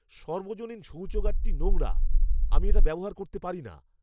সর্বজনীন শৌচাগারটি নোংরা; আমি এটা ব্যবহার করতে পারি না।